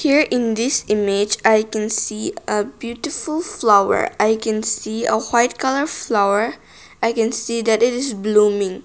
here in this image i can see a beautiful flower i can see a white colour flower i can see that it is blooming.